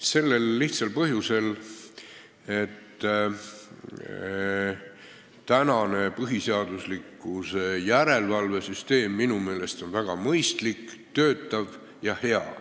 Sellel lihtsal põhjusel, et praegune põhiseaduslikkuse järelevalve süsteem minu meelest on väga mõistlik, töötav ja hea.